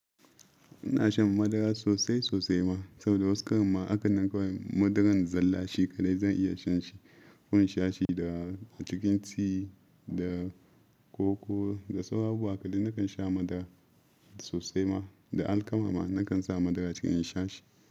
Ina shan madara sosai sosai ma, saboda wasu karan ma hakanan kawai madaran zalla shi kaɗai zan iya shan shi. Ko inshashi da a cikin tea da koko da sauran abubuwa haka dai nakan sha madara sosai ma. Da alkama ma nakan sa madara cikin in shashi.